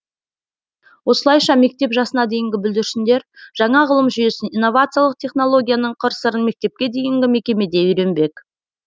осылайша мектеп жасына дейінгі бүлдіршіндер жаңа ғылым жүйесін иновациялық технологияның қыр сырын мектепке дейінгі мекемеде үйренбек